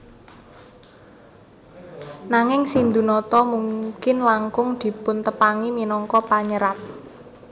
Nanging Sindhunata mungkin langkung dipuntepangi minangka panyerat